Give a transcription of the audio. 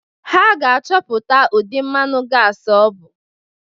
Ha ga-achọpụta ụdị mmanụ gasị ọ bụ.